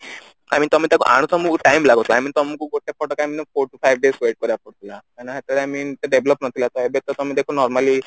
କାହିଁକି ତମେ ତାକୁ ଆଣୁ ଥିଲ ତମେ ତାକୁ ତମକୁ time ଲାଗୁଥିଲା I mean ତମକୁ ଗୋଟେ photo ଆଣିବା ପାଇଁ four to five days time ଲାଗୁଥିଲା କାହିଁକି ନା ସେତେବେଳେ I mean ଏତେ develop ନଥିଲା ଦେଖ ତମେ ଏବେ ଦେଖ normally